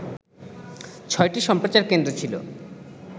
৬টি সম্প্রচার কেন্দ্র ছিল